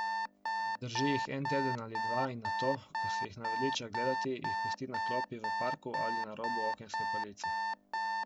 Obdrži jih en teden ali dva in nato, ko se jih naveliča gledati, jih pusti na klopi v parku ali na robu okenske police.